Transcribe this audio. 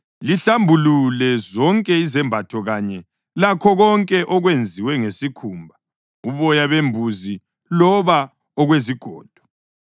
Lihlambulule zonke izembatho kanye lakho konke okwenziwe ngesikhumba, uboya bembuzi loba okwezigodo.”